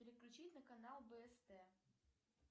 переключить на канал бст